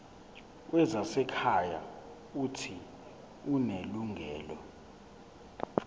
wezasekhaya uuthi unelungelo